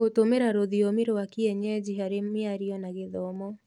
Gũtũmĩra rũthiomi rwa kĩenyenji harĩ mĩario na gĩthomo